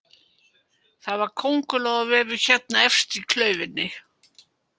Það var köngurlóarvefur hérna efst í klaufinni